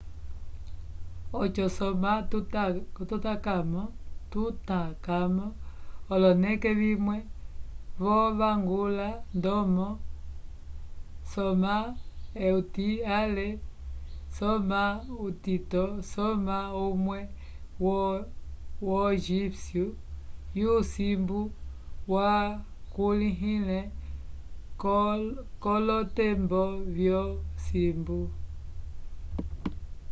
oco soma tutancamo oloneke vimwe vo vangula ndomo soma euti ale soma utito soma umwe wo egipcio yo simbu wakulihile kolotembonvyo simbu